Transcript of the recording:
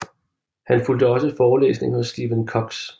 Han fulgte også forelæsninger hos Stephan Kux